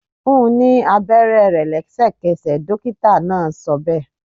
Fún ní àwọn abẹrẹ rẹ lẹsẹkẹsẹ! dokita náà sọbe